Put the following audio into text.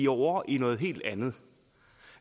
ovre i noget helt andet